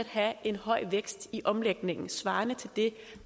have en høj vækst i omlægningen svarende til det